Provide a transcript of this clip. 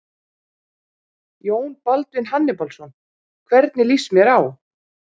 Jón Baldvin Hannibalsson: Hvernig lýst mér á?